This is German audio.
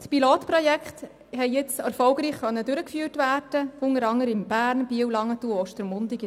Die Pilotprojekte konnten erfolgreich durchgeführt werden, unter anderem in Bern, Biel, Langenthal und Ostermundigen.